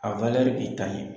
A b'i ta ɲɛ.